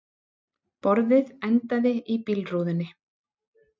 Borðið endaði í bílrúðunni